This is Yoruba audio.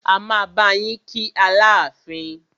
A máa bá yín kí Aláàfin.